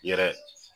Yɛrɛ